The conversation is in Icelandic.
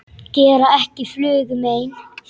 Gera ekki flugu mein.